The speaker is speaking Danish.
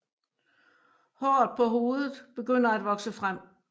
Håret på hovedet begynder at vokse frem